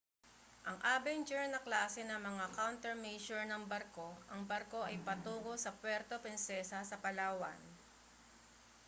ang avenger na klase ng mga countermeasure ng barko ang barko ay patungo sa puerto prinsesa sa palawan